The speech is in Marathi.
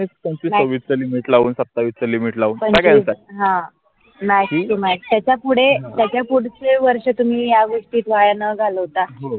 हा माहित आहे का पुडे त्याचा पुढचे वर्षं तुम्ही या गोष्टी वाया न घालवता. हो